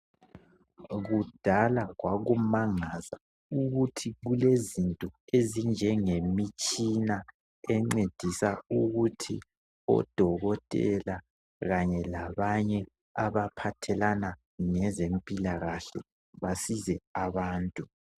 Kudala kwakumangalisa ukuthi kulezinto ezinjengemitshina encedisa ukuthi odokotela kanye labanye abaphathelane lezempilakahle basize abantu.